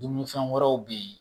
Dumunifɛn wɛrɛw be ye